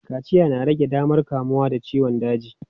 Kaciya na rage damar kamuwa da ciyon daji.